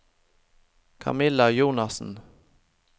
Camilla Jonassen